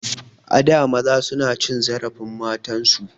A da maza suna cin zarafin matan su.